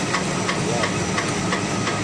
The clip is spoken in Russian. варлок